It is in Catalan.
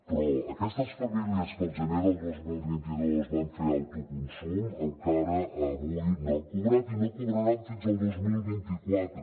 però aquestes famílies que el gener del dos mil vint dos van fer auto consum encara avui no han cobrat i no cobraran fins al dos mil vint quatre